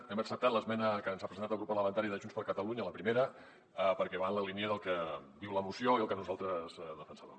hem acceptat l’esmena que ens ha presentat el grup parlamentari de junts per catalunya la primera perquè va en la línia del que diu la moció i el que nosaltres defensàvem